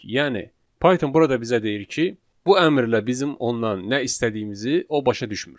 Yəni Python burada bizə deyir ki, bu əmrlə bizim ondan nə istədiyimizi o başa düşmür.